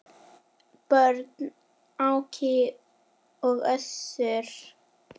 Börn: Áki og Össur.